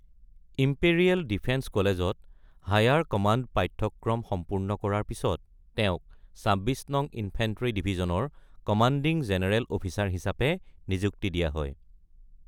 Imperial defence কলেজত higher command পাঠ্যক্ৰম সম্পূৰ্ণ কৰাৰ পিছত তেওঁক ২৬ নং ইনফেণ্ট্ৰি ডিভিজনৰ কমাণ্ডিং জেনেৰেল অফিচাৰ হিচাপে নিযুক্তি দিয়া হয়।